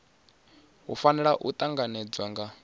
hu fanela u tanganedzwa nga